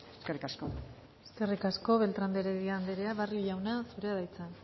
eskerrik asko eskerrik asko beltrán de heredia andrea barrio jauna zurea da hitza